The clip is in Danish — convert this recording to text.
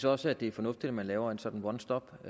også det er fornuftigt at man laver en sådan one stop